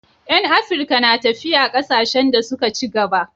Yan Afirka na tafiya kasashen da suka ci gaba